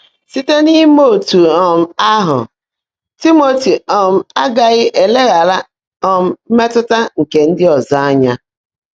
Síte n’íimé ótú um áhụ́, Tị́mọ́tị́ um ágághị́ éléghààrá um mmétụ́tá nkè ndị́ ọ́zọ́ ányá.